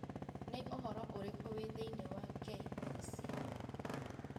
Nĩ ũhoro ũrĩkũ wĩ thĩinĩ wa k.b.c